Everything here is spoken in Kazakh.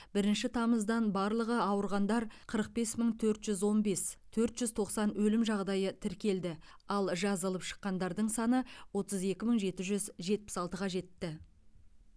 бірінші тамыздан барлығы ауырғандар қырық бес мың төрт жүз он бес төрт жүз тоқсан өлім жағдайы тіркелді ал жазылып шыққандардың саны отыз екі мың жеті жүз жетпіс алтыға жетті